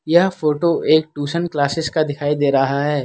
यह फोटो एक tuition classes का दिखाई दे रहा है।